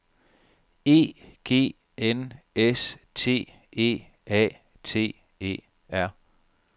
E G N S T E A T E R